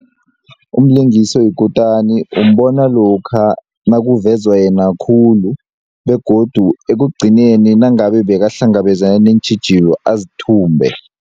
Umlingisi oyikutani umbona lokha nakuvezwa yena khulu begodu ekugcineni nangabe bekahlangabezana neentjhijilo azithumbe.